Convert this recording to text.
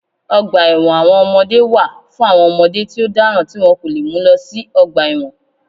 Ọgbà ẹ̀wọ̀n àwọn ọmọdé wà fún àwọn ọmọdé tí ó dáràn tí wọ́n kò lè mú lọ sí ọgbà ẹ̀wọ̀n